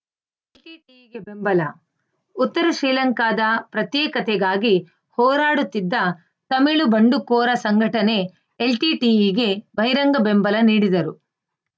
ಬೆಂಬಲ ಉತ್ತರ ಶ್ರೀಲಂಕಾದ ಪ್ರತ್ಯೇಕತೆಗಾಗಿ ಹೋರಾಡುತ್ತಿದ್ದ ತಮಿಳು ಬಂಡುಕೋರ ಸಂಘಟನೆ ಎಲ್‌ಟಿಟಿಇಗೆ ಬಹಿರಂಗ ಬೆಂಬಲ ನೀಡಿದರು